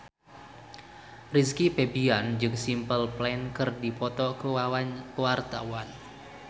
Rizky Febian jeung Simple Plan keur dipoto ku wartawan